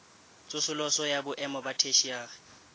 tsosoloso ya boemo ba theshiari